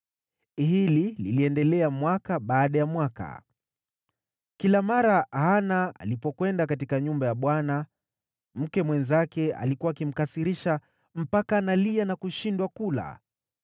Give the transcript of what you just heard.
Hili liliendelea mwaka baada ya mwaka. Kila mara Hana alipokwenda katika nyumba ya Bwana , mke mwenzake alikuwa akimkasirisha mpaka analia na kushindwa kula.